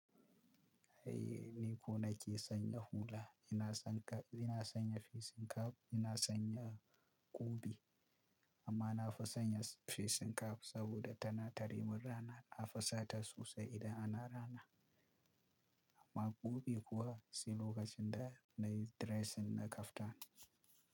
Eh ni ko nake sanya hula, ina sanya fesin cap, ina sanya kubi amma na fi sanya fesin cap saboda tana tare min rana. Na fi sata sosai idan ana rana. Amma kubi kuwa sai lokacin da nayi dressing na kaftan.